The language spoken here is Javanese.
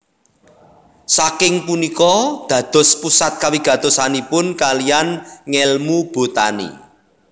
Saking punika dados pusat kawigatosanipun kalihan ngèlmu botani